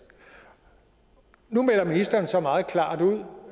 nu melder ministeren så meget klart ud